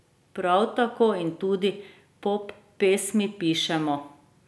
Prav tako, in tudi poppesmi pišemo.